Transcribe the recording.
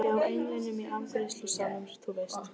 Hjá englinum í afgreiðslusalnum, þú veist.